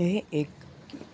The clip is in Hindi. यह एक